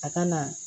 A ka na